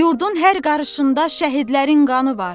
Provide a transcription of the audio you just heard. Yurdun hər qarışında şəhidlərin qanı var.